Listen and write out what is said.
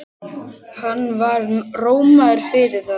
Hann var rómaður fyrir það.